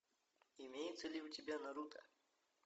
имеется ли у тебя наруто